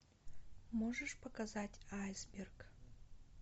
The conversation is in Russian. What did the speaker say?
можешь показать айсберг